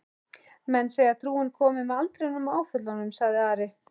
Menn segja trúin komi með aldrinum og áföllunum, sagði Ari.